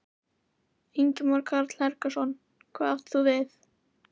Ingimar Karl Helgason: Hvað átt þú við?